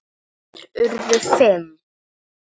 Þeir urðu fimm.